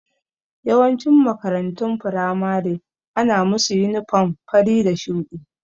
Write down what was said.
Yawancin makarantun firamare ana musa yunifam fari da shuɗi